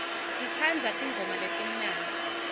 sitsandza tingoma letimnandzi